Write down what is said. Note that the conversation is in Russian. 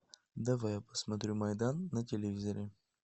давай я посмотрю майдан на телевизоре